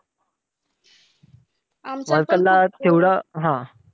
Worker ला तेवढा, हा.